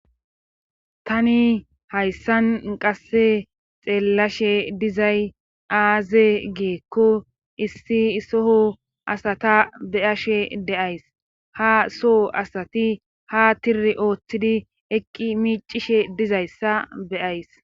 tani hayssan qasse xeellashe dizay aaze geekko issi soho asata beyashe deays ha soho asati ha tiri ooththidi eqqi miicishe dizayssa beyays